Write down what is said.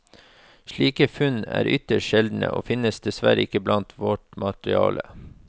Slike funn er ytterst sjeldne og finnes dessverre ikke blant vårt materiale.